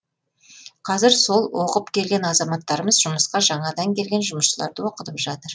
қазір сол оқып келген азаматтарымыз жұмысқа жаңадан келген жұмысшыларды оқытып жатыр